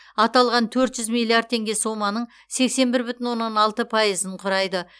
аталған төрт жүз миллиард теңге соманың сексен бір бүтін оннан алты пайызын құрайды